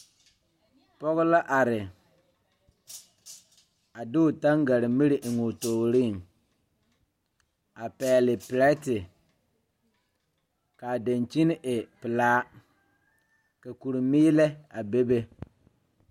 Pɔge la are a de o tangaremiri a eŋoo tooreŋ a pɛgle pirɛte kaa dankyini ɛ pelaa ka kuri miilɛ a bebe.